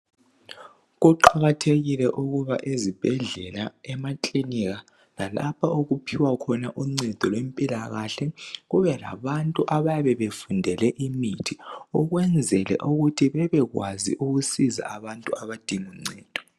Kuqakathekile ukuba ezibhedlela, emakilinika lalapho okuphiwa khona uncedo lwempilakahle kube labantu abayabe befundele imithi ukwenzela ukuthi bebekwazi ukusiza abantu abadinga uncedo.